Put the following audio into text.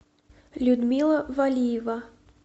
людмила валиева